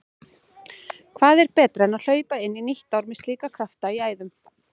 Hvað er betra en hlaupa inn í nýtt ár með slíka krafta í æðum?